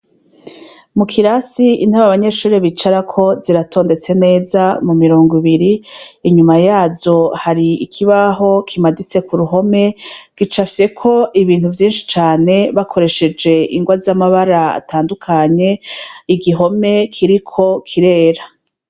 Mu kirasi intaba abanyeshurri bicarako ziratondetse neza mu mirongo ibiri inyuma yazo hari ikibaho kimaditse ku ruhome gicafyeko ibintu vyinshi cane bakoresheje ingwa z'amabara atandukanye igihome kiriko kirera.